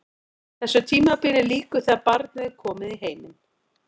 Þessu tímabili lýkur þegar barnið er komið í heiminn.